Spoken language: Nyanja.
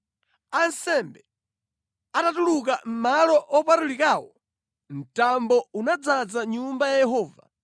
Ansembe atatuluka mʼMalo Opatulikawo, mtambo unadzaza Nyumba ya Yehova.